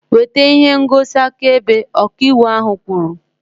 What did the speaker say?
Weta ihe ngosi akaebe! Ọka ịwụ ahu kwuru